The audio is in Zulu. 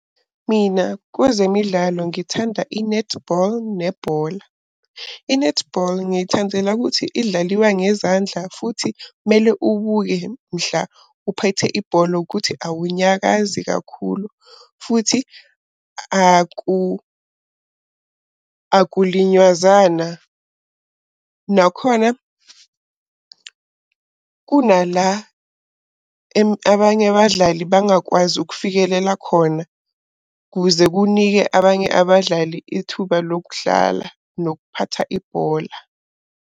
Mina kwezemidlalo ngithanda i-netball nebhola. I-netball ngiyithandela ukuthi idlaliwa ngezandla. Futhi mele ubuke mhla uphethe ibhola ukuthi awunyakazi kakhulu futhi akulinywazana. Nakhona kunala abanye abadlali bangakwazi ukufikelela khona kuze kunike abanye abadlali ithuba lokudlala, nokuphatha ibhola.